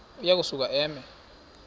uya kusuka eme